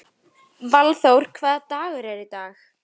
Eins var um hestana, sem voru inni á túninu.